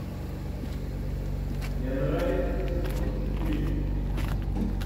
эндрайд сезон четыре